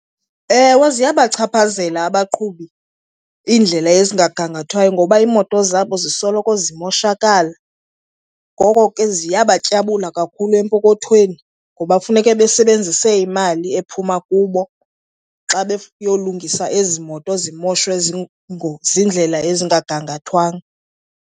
Ewe, ziyabachaphazela abaqhubi iindlela ezingagangathwayo ngoba iimoto zabo zisoloko zimoshakala. Ngoko ke ziyabatyabula kakhulu epokothweni ngoba kufuneka besebenzise imali ephuma kubo xa beyolungisa ezi moto zimoshwe ziindlela ezingagangathwanga.